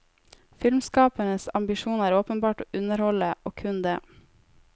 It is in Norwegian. Filmskapernes ambisjon er åpenbart å underholde, og kun det.